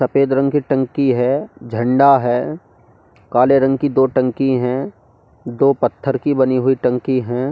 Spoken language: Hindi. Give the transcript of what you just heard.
सफेद रंग की टंकी है झंडा है काले रंग की दो टंकी हैं दो पत्थर की बनी हुई टंकी हैं।